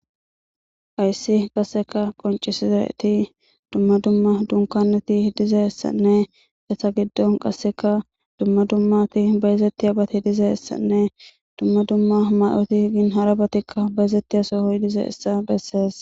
ayssi qasseka qoncisi zaeti dumma dumma dunkaneti dizeessanne esa giddon qasseka dumma dummati bayezettiya bati dizee essanne dumma dumma may7oti gin harabatikka bayezettiya sohoy dize essa bessees